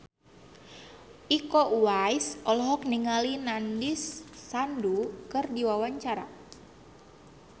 Iko Uwais olohok ningali Nandish Sandhu keur diwawancara